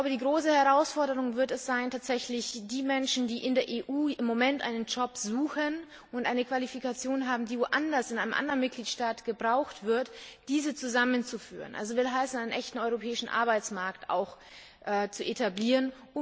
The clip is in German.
Die große Herausforderung wird es sein, tatsächlich die Menschen, die in der EU im Moment einen Job suchen und eine Qualifikation haben, die in einem anderen Mitgliedstaat gebraucht wird, in diesen Mitgliedstaat zu vermitteln, also einen echten europäischen Arbeitsmarkt zu etablieren.